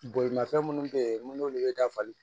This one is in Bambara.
Bolimafɛn minnu bɛ yen minnu bɛ dafali